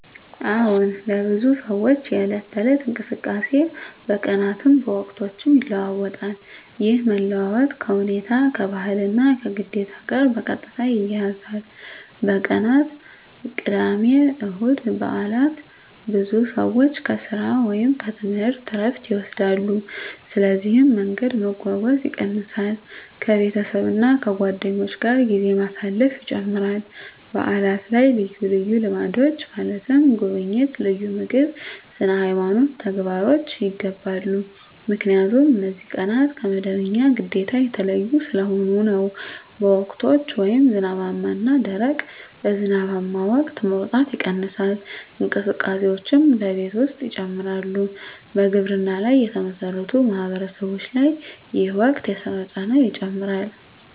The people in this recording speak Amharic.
አዎን፣ ለብዙ ሰዎች የዕለት ተዕለት እንቅስቃሴ በቀናትም በወቅቶችም ይለዋዋጣል። ይህ መለዋወጥ ከሁኔታ፣ ከባህል እና ከግዴታ ጋር በቀጥታ ይያያዛል። በቀናት (ቅዳሜ፣ እሁድ፣ በዓላት): ብዙ ሰዎች ከሥራ ወይም ከትምህርት ዕረፍት ይወስዳሉ፣ ስለዚህ መንገድ መጓጓዝ ይቀንሳል ከቤተሰብ እና ከጓደኞች ጋር ጊዜ ማሳለፍ ይጨምራል በዓላት ላይ ልዩ ልምዶች (ጉብኝት፣ ልዩ ምግብ፣ ስነ-ሃይማኖት ተግባሮች) ይገባሉ 👉 ምክንያቱም እነዚህ ቀናት ከመደበኛ ግዴታ የተለዩ ስለሆኑ ነው። በወቅቶች (ዝናባማ እና ደረቅ): በዝናባማ ወቅት መውጣት ይቀንሳል፣ እንቅስቃሴዎችም በቤት ውስጥ ይጨምራሉ በግብርና ላይ የተመሠረቱ ማህበረሰቦች ላይ ይህ ወቅት የሥራ ጫና ይጨምራል